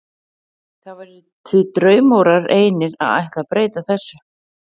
Það væri því draumórar einir að ætla að breyta þessu.